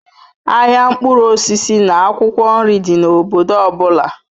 Ahịa mkpụrụ osisi na akwụkwọ nri dị n'obodo ọ bụla